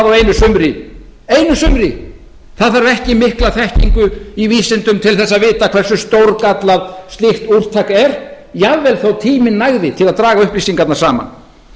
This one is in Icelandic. á einu sumri það þarf ekki mikla þekkingu í vísindum til þess að vita hversu stórgallað slíkt úrtak er jafnvel þó tíminn nægði til að draga upplýsingarnar saman